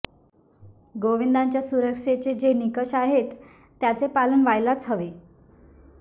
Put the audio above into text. गोविंदांच्या सुरक्षेचे जे निकष आहेत त्याचे पालन व्हायलाच हवे